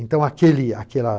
Então, aquele aquela